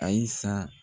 Ayisa